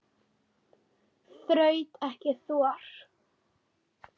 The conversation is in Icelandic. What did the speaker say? Þraut ekki þor.